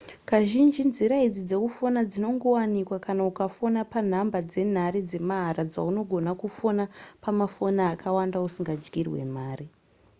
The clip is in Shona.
kazhinji nzira idzi dzekufona dzinongowanikwa kana ukafona panhamba dzenhare dzemahara dzaunogona kufona pamafoni akawanda usingadyirwe mari